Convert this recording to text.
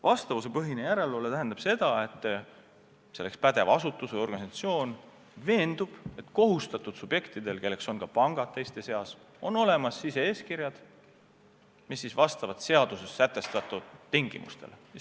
Vastavuspõhine järelevalve tähendab seda, et pädev asutus või organisatsioon veendub, et kohustatud subjektidel, kelle hulka kuuluvad ka pangad, on olemas sise-eeskirjad, mis vastavad seaduses sätestatud tingimustele.